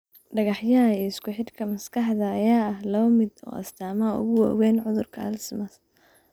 Dhagaxyada iyo isku-xidhka maskaxda ayaa ah laba ka mid ah astaamaha ugu waaweyn ee cudurka Alzheimers.